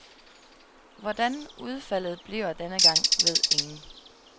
Hvordan udfaldet bliver denne gang, ved ingen.